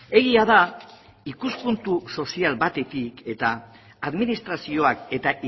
egia da ikuspuntu sozial batetik eta administrazioak eta